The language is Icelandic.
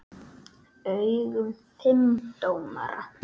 augum fimm dómara.